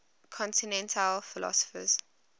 continental philosophers